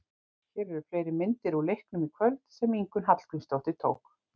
Hér eru fleiri myndir úr leiknum í kvöld sem Ingunn Hallgrímsdóttir tók.